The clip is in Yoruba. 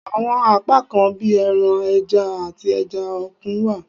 Awọn apakan bi ẹran, ẹja, ati ẹja okun wa